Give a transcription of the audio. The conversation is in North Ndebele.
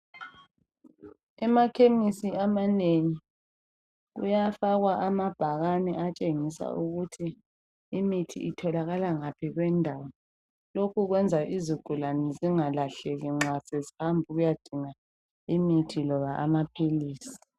Emakhemisi amanengi kuyafakwa amabhakane atshengisa ukuthi imithi itholakala ngaphi kwendawo lokhu kwenza ukuthi izigulane zingalahleki nxa sezihamba ukuyadinga imithi loba amaphilisi.